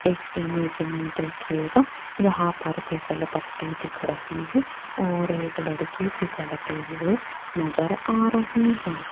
इस इमेज में देखिएगा यहां पर फिसल पट्टी दिख रही है और एक लड़की फिसलते हुए नजर आ रही है।